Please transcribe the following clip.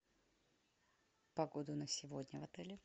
погода на сегодня в отеле